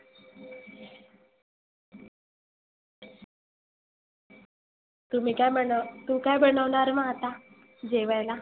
तुम्ही काय बन तु काय बनवनार मग आता जेवायला?